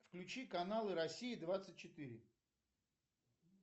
включи каналы россии двадцать четыре